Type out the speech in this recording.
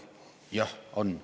Jah, on.